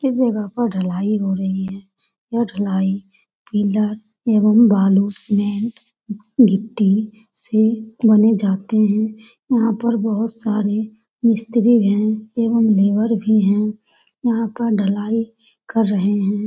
इस जगह पर ढलाई हो रही है । यह ढलाई पीलर एंवम बालू सीमेंट गिट्टी से बने जाते हैं । यहाँ पर बहुत सारे मिस्त्री हैं एंवम लेबर भी हैं यहाँ पर ढलाई कर रहे हैं ।